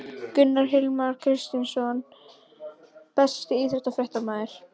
Gunnar Hilmar Kristinsson Besti íþróttafréttamaðurinn?